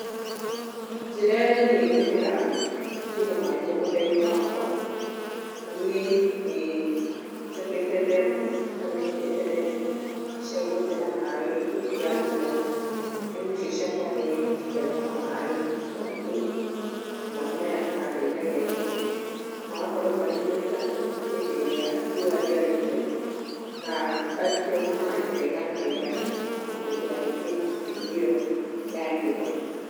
Njĩra irĩa niĩ hũthĩraga kũiga maaĩ mũgũnda-inĩ wakwa niĩ, nĩ njakĩte ndemũ kana nĩ nyenjete ndemũ cia gũtega maaĩ hĩndĩ ya mbura. Ndemũ icio ciakwa nĩ citegaga maaĩ maingĩ na maaĩ maya nĩ mandeithagia mũno na magakorwo marĩ maiganu hĩndĩ ĩrĩa riũa rĩarĩte na ngona maaĩ mega na maiganũ ma kũhũthira hĩndĩ ĩyo ya riũa.